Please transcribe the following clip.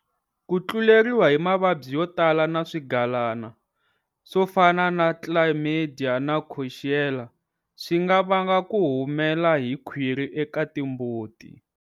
Ku tluleriwa hi mavabyi yo tala na swigalana, swo fana na Chlamydia na Coxiella, swi nga vanga ku humela hi khwiri eka timbuti.